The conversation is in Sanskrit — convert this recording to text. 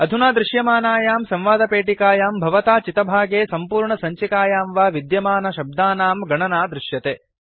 अधुना दृश्यमानायां संवादपेटिकायां भवता चितभागे सम्पूर्णसञ्चिकायां वा विद्यमानशब्दानां गणना दृश्यते